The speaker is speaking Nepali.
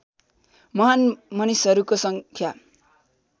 महान् मसिनहरूको सङ्ख्या